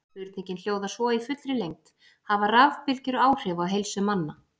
Spurningin hljóðar svo í fullri lengd: Hafa rafbylgjur áhrif á heilsu manna?